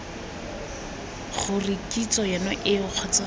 gore kitso yone eo kgotsa